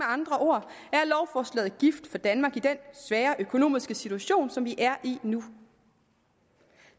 andre ord er lovforslaget gift for danmark i den svære økonomiske situation som vi er i nu